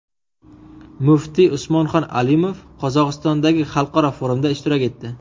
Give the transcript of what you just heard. Muftiy Usmonxon Alimov Qozog‘istondagi xalqaro forumda ishtirok etdi.